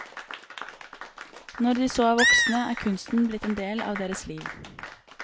Når de så er voksne, er kunsten blitt en del av deres liv.